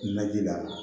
Naji la